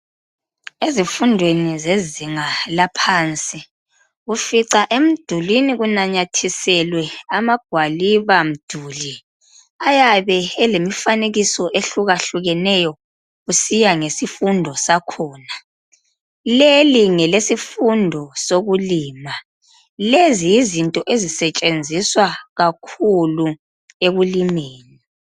Ezifundweni zezinga laphansi, ufica emidulini kunanyathiselwe amagwalibamduli, ayabe elemifanekiso ehlukahlukeneyo kusiya ngesifundo sakhona. Leli ngelesifundo sokulima. Lezi yizinto ezisetshenziswa kakhulu ekulimeni